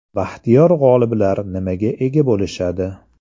Baxtiyor g‘oliblar nimaga ega bo‘lishadi?